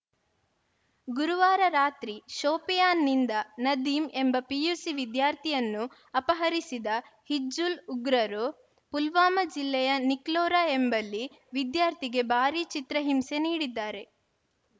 ಗುರುವಾರ ರಾತ್ರಿ ಶೋಪಿಯಾನ್‌ನಿಂದ ನದೀಮ್‌ ಎಂಬ ಪಿಯುಸಿ ವಿದ್ಯಾರ್ಥಿಯನ್ನು ಅಪಹರಿಸಿದ ಹಿಜ್ಬುಲ್‌ ಉಗ್ರರು ಪುಲ್ವಾಮಾ ಜಿಲ್ಲೆಯ ನಿಕ್ಲೋರಾ ಎಂಬಲ್ಲಿ ವಿದ್ಯಾರ್ಥಿಗೆ ಭಾರೀ ಚಿತ್ರಹಿಂಸೆ ನೀಡಿದ್ದಾರೆ